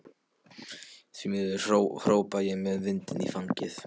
Því miður, hrópa ég með vindinn í fangið.